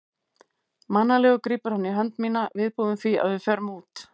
Mannalegur grípur hann í hönd mína, viðbúinn því að við förum út.